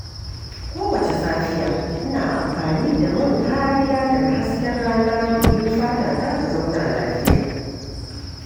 Kowace safiya, ina amfani da man kariya daga hasken rana domin fatata ta zauna lafiya.